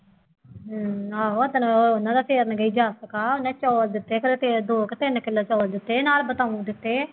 ਹੂੰ ਆਹੋੋ ਚੱਲੋ ਉਹ ਉਹਨਾ ਦਾ ਫੇਰਨ ਗਈ ਜਾਂ ਉਹਨੇ ਚੌਲ ਦਿੱਤੇ ਕਦੇ ਸ਼ੇਰ ਦੋ ਕੁ ਤਿੰਨ ਕਿਲੋ ਚੌਲ ਦਿੱਤੇ ਨਾਲ ਬਤਾਊਂ ਦਿੱਤੇ